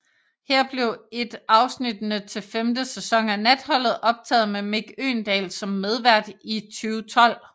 Her blev et afsnittene til femte sæson af Natholdet optaget med Mick Øgendahl som medvært i 2012